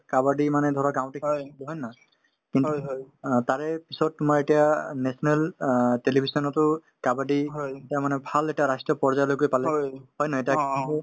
কাবাডী মানে ধৰা গাওঁতে খেলিছিলো হয় নে নহয় কিন্তু অ তাৰে পিছত তোমাৰ এতিয়া national অ television তো kabaddi এতিয়া মানে ভাল এটা ৰাষ্ট্ৰীয় পৰ্যায়লৈকে পালে হয় নে নাই এতিয়া